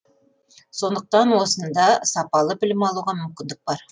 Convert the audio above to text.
сондықтан осында сапалы білім алуға мүмкіндік бар